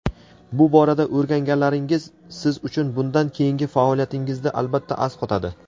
bu borada o‘rganganlaringiz siz uchun bundan keyingi faoliyatingizda albatta asqotadi.